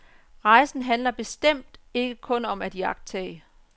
Rejsen handler bestemt ikke kun om at iagttage.